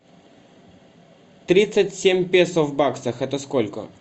тридцать семь песо в баксах это сколько